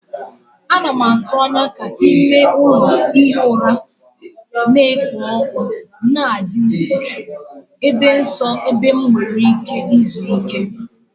Ana m atụ anya ka ime ụlọ ihi ụra na-ekpo ọkụ na ịdị jụụ, ebe nsọ ebe m nwere ike izuike na izu ike.